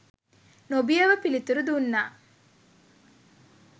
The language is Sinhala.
නොබියව පිළිතුරු දුන්නා.